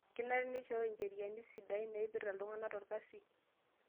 Kenare neishoyoo ncheriani sidain naipirta iltung'ana torkasi